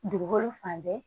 Dugukolo fan bɛɛ